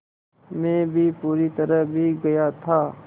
मैं भी पूरी तरह भीग गया था